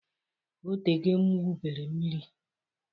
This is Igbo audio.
O tego m gwubere mmiri.